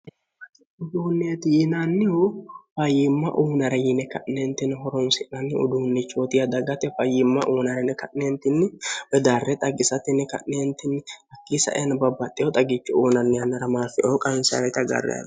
udduneti yinanihu fayyima unayira hooronsinani udduneti yaate dagate fayyima uyinani yine kane woyi dare xaagisate kanetinni hakini sa'aneno babbaxewo xagicho uuyinani yanara marfeo qansani agarani